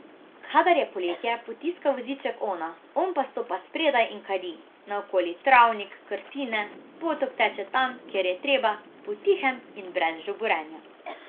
Kadar je poletje, potiska voziček ona, on pa stopa spredaj in kadi, naokoli travnik, krtine, potok teče tam, kjer je treba, potihem in brez žuborenja.